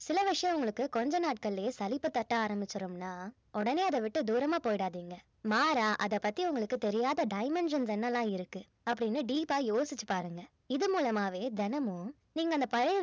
சில விஷயம் உங்களுக்கு கொஞ்சம் நாட்களிலேயே சலிப்பு தட்ட ஆரம்பிச்சிடும்னா உடனே அதை விட்டு தூரமா போயிடாதீங்க மாறா அத பத்தி உங்களுக்கு தெரியாத dimensions என்னலாம் இருக்கு அப்படின்னு deep ஆ யோசிச்சு பாருங்க இது மூலயமாவே தினமும் நீங்க அந்த பழைய